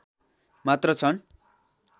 मात्र छन्